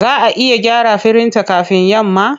Za a iya gyara firinta kafin yamma?